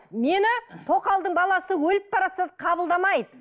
мені тоқалдың баласы өліп қабылдамайды